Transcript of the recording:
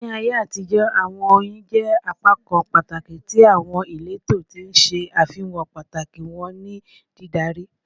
Ni Aiye atijọ, awọn oyin jẹ apakan pataki ti awọn ileto, ti n ṣe afihan pataki wọn ni didari